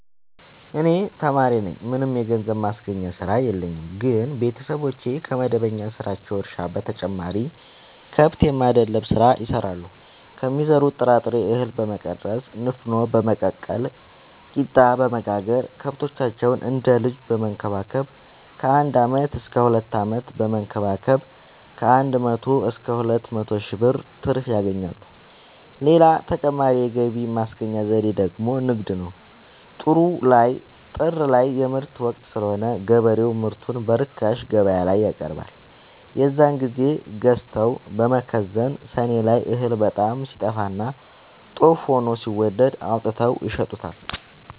እኔ ተማሪነኝ ምንም የገንዘብ ማስገኛ ስራ የለኝም ግን ቤተሰቦቼ ከመደበኛ ስራቸው እርሻ በተጨማሪ ከብት የማድለብ ስራ ይሰራሉ ከሚዘሩት ጥራጥሬ እሀል በመቀነስ ንፋኖ በመቀቀል ቂጣበወጋገር ከብቶቻቸውን እንደ ልጅ በመከባከብ ከአንድ አመት እስከ ሁለት አመት በመንከባከብ ከአንድ መቶ እስከ ሁለት መቶ ሺ ብር ትርፍ ያገኛሉ። ሌላ ተጨማሪ የገቢ ማስገኛ ዘዴ ደግሞ ንግድ ነው። ጥር ላይ የምርት ወቅት ስለሆነ ገበሬው ምርቱን በርካሽ ገበያላይ ያቀርባል። የዛን ግዜ ገዝተው በመከዘን ሰኔ ላይ እህል በጣም ሲጠፋና ጦፍ ሆኖ ሲወደድ አውጥተው ይሸጡታል።